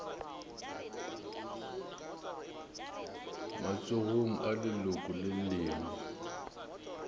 matsogong a leloko le lengwe